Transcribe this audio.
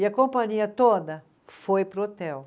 E a companhia toda foi para o hotel.